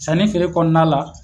Sanni ni feere kɔnɔna la.